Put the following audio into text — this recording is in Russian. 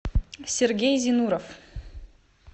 сергей зинуров